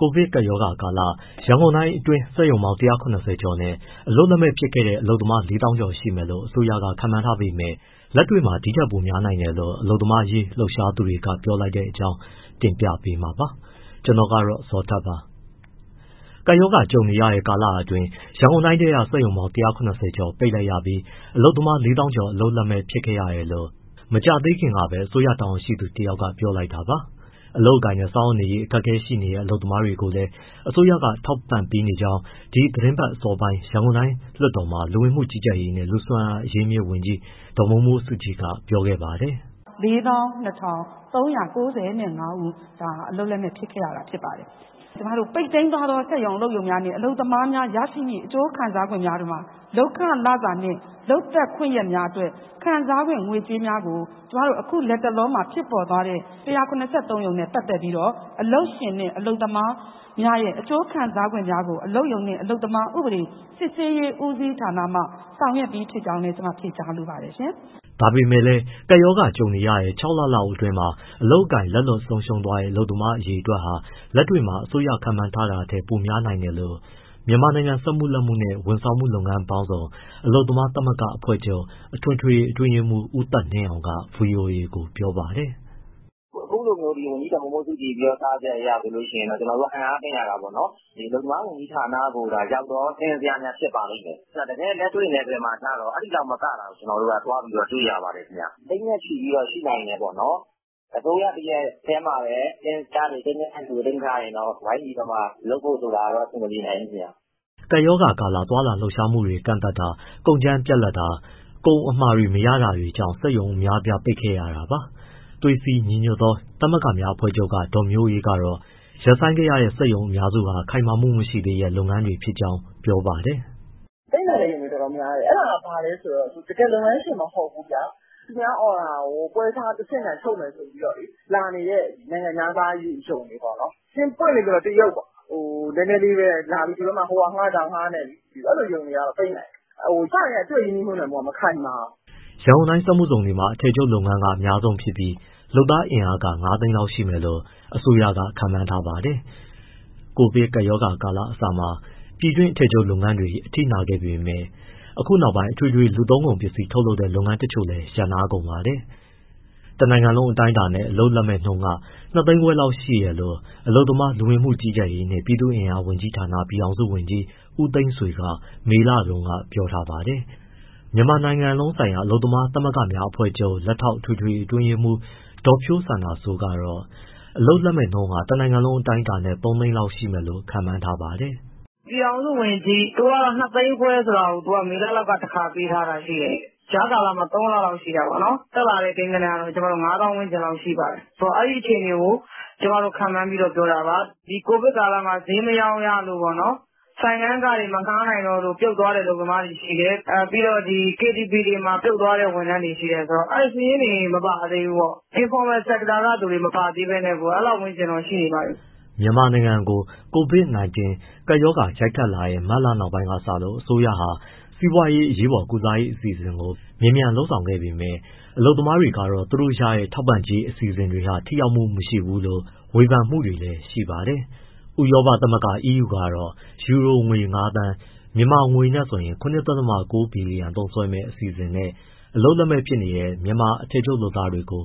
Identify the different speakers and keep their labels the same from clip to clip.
Speaker 1: ကိုဗစ်ကပ်ရောဂါကာလ ရန်ကုန်တိုင်းအတွင်း စက်ရုံပေါင်း ၁၇၀ ကျော်နဲ့ အလုပ်လက်မဲ့ ဖြစ်ခဲ့ရတဲ့ အလုပ်သမား ၄ သောင်းကျော် ရှိမယ်လို့ အစိုးရက ခန့်မှန်းထားပေမဲ့ လက်တွေ့မှာ ဒီထက်ပိုများနိုင်တယ်လို့ အလုပ်သမားရေး လှုပ်ရှားသူတွေက ပြောလိုက်တဲ့အကြောင်း တင်ပြပေးမှာပါ။ ဗွီအိုအေမြန်မာပိုင်း သတင်းထောက် ကိုဇော်ထက်က သတင်းပေးပို့ထားပါတယ်။ ကပ်ရောဂါ ကြုံနေရတဲ့ ကာလအတွင်း ရန်ကုန်တိုင်းထဲက စက်ရုံပေါင်း ၁၇၀ ကျော်ပိတ်လိုက်ရပြီး အလုပ်သမား ၄ သောင်းကျော် အလုပ်လက်မဲ့ ဖြစ်ခဲ့ရတယ်လို့ မကြာသေးခင်ကပဲ အစိုးရတာဝန်ရှိသူ တယောက်က ပြောလိုက်တာပါ။ အလုပ်အကိုင်နဲ့ စားဝတ်နေရေး အခက်အခဲရှိတဲ့ အလုပ်သမားတွေကိုလည်း အစိုးရက ထောက်ပံ့ပေးနေကြောင်း ဒီသီတင်းပတ်အစောပိုင်း ရန်ကုန်တိုင်းလွှတ်တော်မှာ လူဝန်မှုကြီးကြပ်ရေး နဲ့ လူ့စွမ်းအားအရင်းအမြစ်ဝန်ကြီး ဒေါ်မိုးမိုးစုကြည်က ပြောခဲ့ပါတယ်
Speaker 2: ။ “ ၄၂၃၉၅ ဦး ဒါဟာအလုပ်လက်မဲ့ ဖြစ်ခဲ့ရတာ ဖြစ်ပါတယ်။ ကျမတို့ ပိတ်သိမ်းသွားတဲ့ စက်ရုံအလုပ်ရုံ နဲ့ အလုပ်သမားများ ရရှိမယ့် အကျိုးခံစားခွင့်များထဲမှ လုပ်ခလစာနှင့် လုပ်သက်ခွင့်ရက်များအတွက် ခံစားခွင့် ငွေကြေးများကို အခုလက်တလောမှာ ဖြစ်ပေါ်သွားတဲ့ ၁၇၃ ရုံနဲ့ပတ်သက်ပြီးတော့ အလုပ်ရှင် နှင့် အလုပ်သမားများရဲ့ အကျိုးခံစားခွင့်များကို အလုပ်ရုံနှင့် အလုပ်သမားစစ်ဆေးရေး ဦးစီးဌာနမှ ဆောင်ရွက်ပြီးဖြစ်ကြောင်းလည်း ကျမဖြေကြားလိုပါတယ်။”
Speaker 1: ဒါပေမဲ့လည်း ကပ်ရောဂါ ကြုံနေရတဲ့ ၆ လလောက်အတွင်း အလုပ်အကိုင် လက်လွတ်ဆုံးရှုံးတဲ့ အလုပ်သမား အရေအတွက်ဟာ လက်တွေ့မှာ အစိုးရခန့်မှန်းချက်ထက် ပိုများနိုင်တယ်လို့ မြန်မာနိုင်ငံ စက်မှုလက်မှုနဲ့ ဝန်ဆောင်မှု လုပ်ငန်းပေါင်းစုံ အလုပ်သမားများသမဂ္ဂ အဖွဲ့ချုပ် အထွေထွေအတွင်းရေးမှူး ဦးသက်နှင်းအောင်က ဗွီအိုအေကို ပြောပါတယ်။ “ အခုလိုမျိုး ဝန်ကြီးဒေါ်မိုးမိုးစုကြည်ပြောကြားချက်အရဆိုရင် ကျနော်တို့ အံ့အားသင့်ရတာပေါ့နော်၊ အလုပ်သမားဝန်ကြီးဌာနကိုသာ ရောက်သော စာရင်းဇယားများ ဖြစ်ပါလိမ့်မယ်။ တကယ့်လက်တွေ့ နယ်ပယ်မှာကျတော့ အဲဒီလောက်မကတာကို ကျနော်တို့က သွားပြီးတွေ့ရပါတယ်ခင်ဗျ။ သိန်းနဲ့ချီပြီးတော့ ရှိနိုင်တယ်ပေါ့နော်။ အစိုးရတရပ်တည်းမှာပဲ စာရင်းဇယားတွေ၊ ကိန်းဂဏန်းတွေကို သိမ်းထားရင်တော့ ဝိုင်းပြီးတော့မှ လုပ်ဖို့ဆိုတာကတော့ အဆင်မပြေနိုင်ဘူးခင်ဗျ။” ကပ်ရောဂါကာလ သွားလာလှုပ်ရှားမှုတွေ ကန့်သတ်တာ၊ ကုန်ကြမ်းပြတ်လပ်တာ၊ ကုန်အမှာ မရတာတွေကြောင့် စက်ရုံတွေ အများအပြား ပိတ်ခဲ့ရတာပါ။ သွေးစည်းညီညွတ်သောသမဂ္ဂများအဖွဲ့ချုပ်က ဒေါ်မျိုးအေးကတော့ ရပ်ဆိုင်းခဲ့ရတဲ့ စက်ရုံအများစုဟာ ခိုင်မာမှုမရှိသေးတဲ့ လုပ်ငန်းတွေ ဖြစ်ကြောင်း ပြောပါတယ်။
Speaker 2: “ပိတ်နိုင်တဲ့ရုံတွေတော်တော်များတယ်၊ အဲဒါက ဘာလဲဆိုတော့ တကယ်လုပ်ငန်းရှင် မဟုတ်ဘူးဗျာ၊ သူများ order ကို ပ
Speaker 1: ွဲစားတဆင့်ခံချုပ်မယ်ဆိုပြီးမှ လာနေတဲ့ နိုင်ငံခြားသား ရုံတွေပေါ့နော်။ ပွင့်ပွင့်လင်
Speaker 2: းလင်းပြောရရင် တရုတ်ပေါ့။ နည်းနည်းလေးပဲလာပြီး ဒီဘက်မှာ ဟိုဟာငှား၊ ဒီဟာငှားနဲ့ အဲဒီလိုရုံတွေကတော့ ပိတ်နိုင်တယ်။ အစကတည်းက သူ့ရဲ့ ရင်းနှီးမြှုပ်နှံမှုက မခိုင်မာဘူး။
Speaker 1: ” ရန်ကုန်တိုင်းစက်မှုဇုံတွေမှာ အထည်ချုပ်လုပ်ငန်းက အများဆုံးဖြစ်ပြီး လုပ်သားအင်အား ၅ သိန်းလောက်ရှိမယ်လို့ အစိုးရက ခန့်မှန်းထားပါတယ်။ ကိုဗစ်ကပ်ရောဂါကာလအစမှာ ပြည်တွင်း အထည်ချုပ်လုပ်ငန်းတွေ အထိနာခဲ့ပေမဲ့ အခုနောက်ပိုင်း အထွေထွေလူသုံးကုန်ပစ္စည်း ထုတ်လုပ်တဲ့ လုပ်ငန်းတချို့လည်း ရပ်နားကုန်ပါတယ်။ တနိုင်ငံလုံးအတိုင်းအတာနဲ့ အလုပ်လက်မဲ့နှုန်းက ၂၅၀၀၀၀ ရှိတယ်လို့ အလုပ်သမား၊ လူဝင်မှုကြီးကြပ်ရေးနှင့် ပြည်သူ့အင်အားဝန်ကြီးဌာန ပြည်ထောင်စုဝန်ကြီး ဦးသိန်းဆွေက မေလတုန်းကပဲ ပြောထားပါတယ်။ မြန်မာနိုင်လုံးဆိုင်ရာ အလုပ်သမားသမဂ္ဂများအဖွဲ့ချုပ် လက်ထောက်အထွေထွေအတွင်းရေးမှူး ဒေါ်ဖြိုးစန္ဒာစိုးကတော့ အလုပ်လက်မဲ့နှုန်းဟာ တနိုင်ငံလုံးအတိုင်းအတာနဲ့ ၃သိန်းလောက် ရှိမယ်လို့ ခန့်မှန်းထားပါတယ်။
Speaker 2: “ပြည်ထောင်စုဝန်ကြီး သူက ၂၅၀၀၀၀ ဆိုတာကို မေလတုန်းက တခါပေးထားတာရှိတယ်။ ကြားကာလမှာ ၃ လလောက်ရှိတာပေါ့နော်။ တက်လာတဲ့ ကိန်းဂဏန်းကတော့ ၅ သောင်းလောက်ရှိပါတယ်။ ဆိုတော့ အဲဒီအခြေအနေကို ကျမတို့ ခန့်မှန်းပြီးတော့ပြောတာပါ။ ဒီ ကိုဗစ်ကာလမှာ ဈေးမရောင်းရတို့၊ ဆိုင်ခန်းခတွေ မငှားနိုင်တော့လို့ ပြုတ်သွားတဲ့ အလုပ်သမားတွေရှိတယ်၊ ပြီးတော့ ဒီ KTVတွေမှာ ပြုတ်သွားတဲ့ ဝန်ထမ်းတွေရှိတယ်၊ ဆိုတော့ အဲဒီ စာရင်းတွေမပါသေးဘူးပေါ့။ Informal Sector ကသူတွေ မပါသေးပဲနဲ့ကို အဲလောက်ဝန်းကျင် ရှိနေပါပြီ။
Speaker 1: ” မြန်မာနိုင်ကို COVID-19 ကပ်ရောဂါရိုက်ခတ်လာတဲ့ မတ်လနောက်ပိုင်းကစလို့ အစိုးရဟာ စီးပွားရေးအရေးပေါ်ကုစားရေး အစီအစဉ်တွေကို မြန်မြန်လုပ်ဆောင်ခဲ့ပေမဲ့ အလုပ်သမားတွေကတော့ သူတို့ရတဲ့ ထောက်ပံ့ကြေး အစီအစဉ်တွေဟာ ထိရောက်မှုမရှိဘူးလို့ ဝေဖန်မှုတွေလည်း ရှိပါတယ်။ ဥရောပသမဂ္ဂ EU ကတော့ ယူရိုငွေ ၅သန်း ( မြန်မာငွေ ၇.၉ ဘီလီယံ) သုံးစွဲမယ့် အစီအစဉ်နဲ့ အလုပ်လက်မဲ့ ဖြစ်နေကြတဲ့ မြန်မာအထည်ချုပ်လုပ်သားတွေကို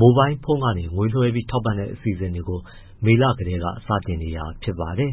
Speaker 1: မိုဘိုင်းဖုန်းကနေ ငွေလွှဲပြီး ထောက်ပံ့တဲ့အစီအစဉ်ကို မေလကတည်းကစတင်နေတာ ဖြစ်ပါတယ်